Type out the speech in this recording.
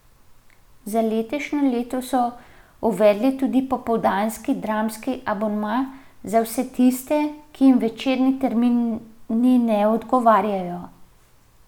Za letošnje leto so uvedli tudi popoldanski dramski abonma, za vse tiste, ki jim večerni termini ne odgovarjajo.